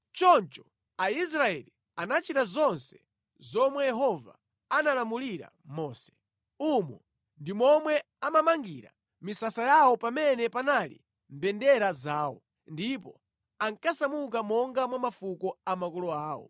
Choncho Aisraeli anachita zonse zomwe Yehova analamulira Mose. Umo ndi momwe amamangira misasa yawo pamene panali mbendera zawo, ndipo ankasamuka monga mwa mafuko a makolo awo.